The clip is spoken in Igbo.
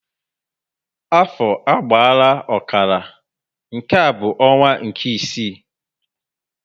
Afọ agbaala ọkara, nke a bu onwa nke ịsị